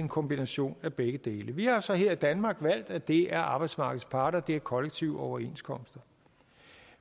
en kombination af begge dele vi har så her i danmark valgt at det er arbejdsmarkedets parter og at det er kollektive overenskomster